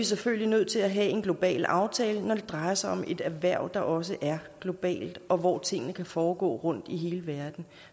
selvfølgelig nødt til at have en global aftale når det drejer sig om et erhverv der også er globalt og hvor tingene kan foregå rundt i hele verden